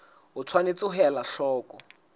o tshwanetse ho ela hloko